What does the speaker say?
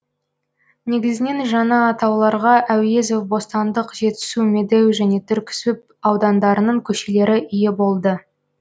негізінен жаңа атауларға әуезов бостандық жетісу медеу және түрксіб аудандарының көшелері ие болды